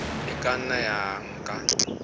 e ka nna ya nka